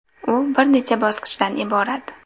U bir necha bosqichdan iborat.